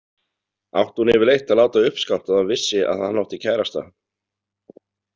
Átti hún yfirleitt að láta uppskátt að hún vissi að hann átti kærasta?